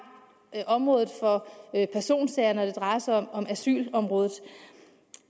området for personsager når det drejer sig om asylområdet